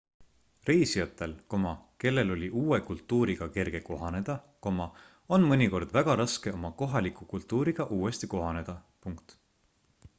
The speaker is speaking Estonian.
reisijatel kellel oli uue kultuuriga kerge kohaneda on mõnikord väga raske oma kohaliku kultuuriga uuesti kohaneda